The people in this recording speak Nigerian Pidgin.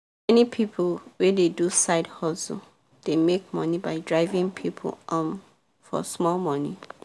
many people wey dey do side hustle dey make money by driving people um for small money